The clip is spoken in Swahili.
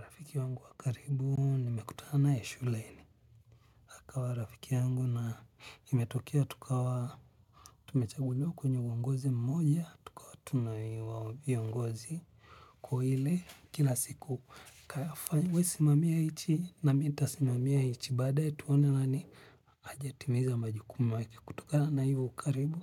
Rafiki wangu wakaribu nimekutana nae shuleni. Akawa rafiki yangu na imetokea tukawa tumechaguliwa kwenye uongozi mmoja tukawa tunaitwa viongozi. Kwa ile kila siku kafanye we simamia hichi na mi nitasimamia hichi baadae tuone nani ajatimiza majukumu wake kutokana na hivo ukaribu